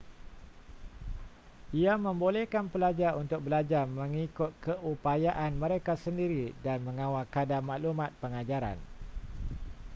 ia membolehkan pelajar untuk belajar mengikut keupayaan mereka sendiri dan mengawal kadar maklumat pengajaran